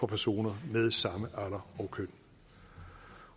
personer med samme alder og køn